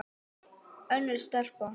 Önnur stelpa?